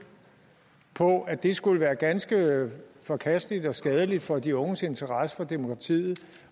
på at det skulle være ganske forkasteligt og skadeligt for de unges interesse for demokratiet